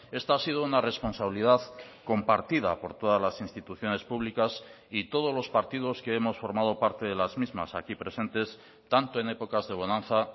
esta ha sido una responsabilidad compartida por todas las instituciones públicas y todos los partidos que hemos formado parte de las mismas aquí presentes tanto en épocas de bonanza